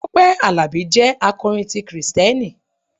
Tọ́pẹ́ Àlàbí jẹ́ akọrin ti Kristẹni.